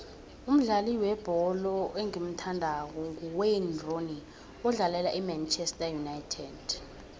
umdlali webholo engimuthandako nguwayne rooney odlalela imanchester united